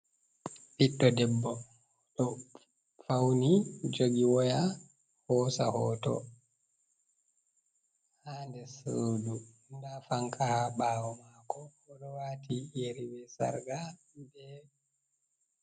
Ɓiɗɗo debbo ɗo fauni jogi woya hosa hoto ha nder sodu, nda fanka haa ɓawo maako, oɗo waati yeri be sarga be...